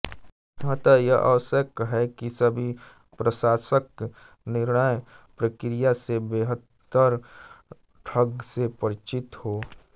अतः यह आवश्यक है कि सभी प्रशासक निर्णय प्रक्रिया से बेहतर ढंग से परिचित हों